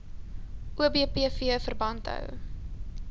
obpv verband hou